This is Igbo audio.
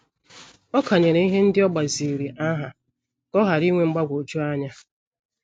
Ọ kanyere ihe ndị o gbaziri aha ka ọ ghara inwe mgbagwoju anya.